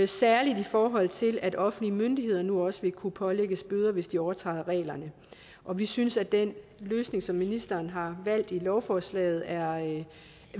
særlig i forhold til at offentlige myndigheder nu også vil kunne pålægges bøder hvis de overtræder reglerne og vi synes at den løsning som ministeren har valgt i lovforslaget